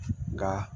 Nka